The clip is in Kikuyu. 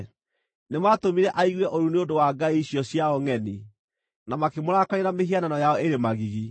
Nĩmatũmire aigue ũiru nĩ ũndũ wa ngai icio ciao ngʼeni, na makĩmũrakaria na mĩhianano yao ĩrĩ magigi.